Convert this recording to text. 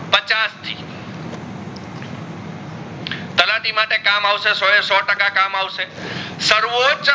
તલાટિ માટે કામ અવસે સોએસો ટકા કામ અવસે સર્વોજ